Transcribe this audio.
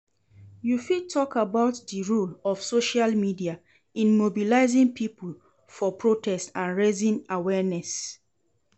You fit talk about di role of social media in mobilizing people for protest and raising awareness.